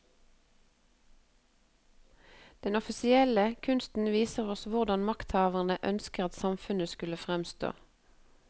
Den offisielle kunsten viser oss hvordan makthaverne ønsket at samfunnet skulle fremstå.